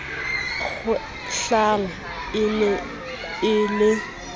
kgwehlang e ne e le